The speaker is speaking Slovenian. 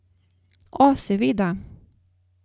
O, seveda!